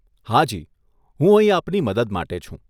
હાજી, હું અહીં આપની મદદ માટે છું.